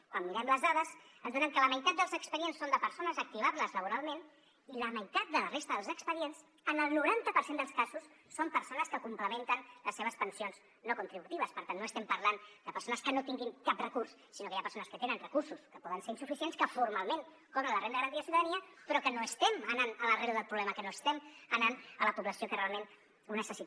quan mirem les dades ens adonem que la meitat dels expedients són de persones activables laboralment i la meitat de la resta dels expedients en el noranta per cent dels casos són persones que complementen les seves pensions no contributives per tant no estem parlant de persones que no tinguin cap recurs sinó que hi ha persones que tenen recursos que poden ser insuficients que formalment cobren la renda garantida de ciutadania però que no estem anant a l’arrel del problema que no estem anant a la població que realment ho necessita